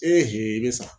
i bɛ sa